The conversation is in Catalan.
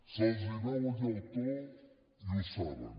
se’ls veu el llautó i ho saben